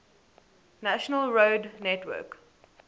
national road network